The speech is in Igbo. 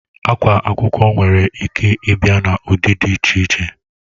Akwa akwụkwọ nwere Ike Ibia na ụdị dị iche